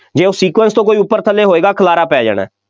ਜੇ ਉਹ sequence ਤੋਂ ਕੋਈ ਉੱਪਰ ਥੱਲੇ ਹੋਏਗਾ, ਖਿਾਲਾਰਾ ਪੈ ਜਾਣਾ,